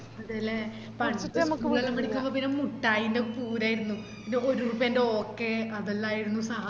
അതെല്ലേ പണ്ട് school പടിക്കുമ്പെ പിന്നാ മുട്ടായിന്റെ പൂരായിരുന്നു ഒരുറുപ്പെന്റെ ഓക്കേ അതെല്ലാരുന്നു സഹായം